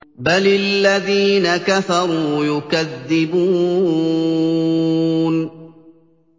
بَلِ الَّذِينَ كَفَرُوا يُكَذِّبُونَ